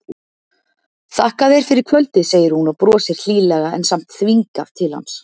Þakka þér fyrir kvöldið, segir hún og brosir hlýlega en samt þvingað til hans.